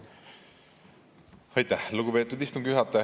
Aitäh, lugupeetud istungi juhataja!